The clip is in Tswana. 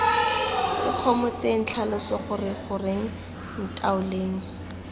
ikgomotseng tlhalosa gore goreng ntaoleng